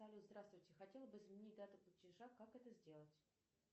салют здравствуйте хотела бы изменить дату платежа как это сделать